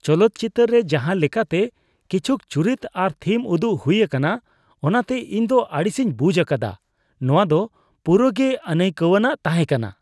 ᱪᱚᱞᱚᱛ ᱪᱤᱛᱟᱹᱨ ᱨᱮ ᱡᱟᱦᱟᱸ ᱞᱮᱠᱟᱛᱮ ᱠᱤᱪᱷᱩᱠ ᱪᱩᱨᱤᱛ ᱟᱨ ᱛᱷᱤᱢ ᱩᱫᱩᱜ ᱦᱩᱭ ᱟᱠᱟᱱᱟ ᱚᱱᱟᱛᱮ ᱤᱧ ᱫᱚ ᱟᱹᱲᱤᱥᱤᱧ ᱵᱩᱡᱷ ᱟᱠᱟᱫᱟ ᱾ ᱱᱚᱣᱟ ᱫᱚ ᱯᱩᱨᱟᱹ ᱜᱮ ᱟᱹᱱᱟᱹᱭᱠᱟᱹᱣᱟᱱᱟᱜ ᱛᱟᱦᱮᱠᱟᱱᱟ ᱾